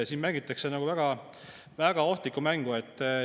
Siin mängitakse väga ohtlikku mängu.